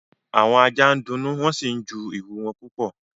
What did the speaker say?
Àwọn ajá ń dunnú wọ́n sì ń ju ìrù wọn púpọ̀